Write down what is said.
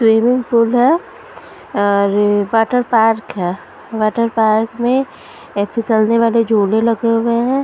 Swimming pool हैं और water park हैं वाटर पार्क में फिसलने वाले झूले लगे हुए हैं ।